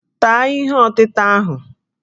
Taa ihe ọtịta ahụ!